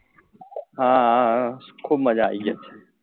હા હા હા ખુબ મજા આવી ગઈ